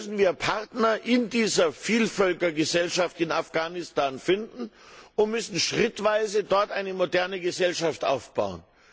Deshalb müssen wir Partner in dieser Vielvölkergesellschaft in Afghanistan finden und müssen schrittweise dort eine moderne Gesellschaft aufbauen.